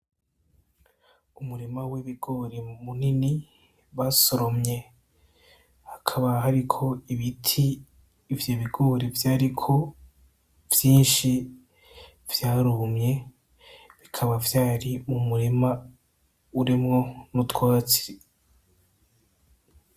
Umurima w'ibigori, munini basoromye hakaba hariko ibiti ivyo bigori vyariko vyinshi vyarumye bikaba vyari mu murima urimwo n'utwatsi.